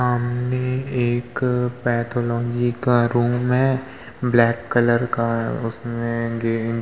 सामने एक पैथोलॉजी का रूम है ब्लैक कलर का उसमे --